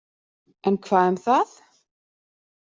En hvað um það!